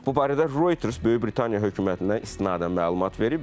Bu barədə Reuters Böyük Britaniya hökumətinə istinadən məlumat verib.